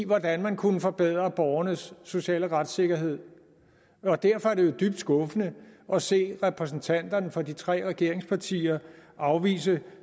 hvordan man kunne forbedre borgernes sociale retssikkerhed og derfor er det dybt skuffende at se repræsentanterne for de tre regeringspartier afvise